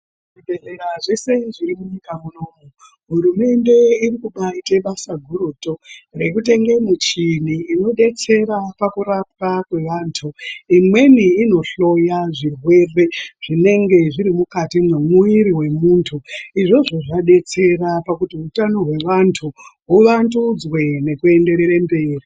Zvibhedhlera zvese zviri munyika muno, hurumende iri kubaiita basa gurutu rekutenge muchini inodetsera pakurapwa kwevanthu, imweni inohloya zvirwere zvinenge zviri mukati mwemuwiri wemunthu, izvozvo zvadetsera pakuti utano hwevanthu huvandudzwe nekuenderere mberi.